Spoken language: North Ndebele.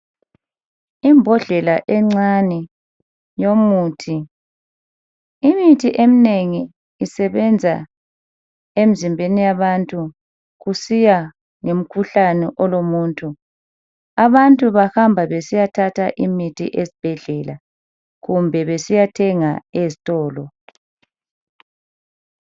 Imbodlela encane yomuthi. Imithi eminengi isebenza emzimbeni yabantu kusiya ngomkhuhlane olomuntu. Abantu bahamba besiyathatha imithi ezibhedlela kumbe besiyathenga ezitolo.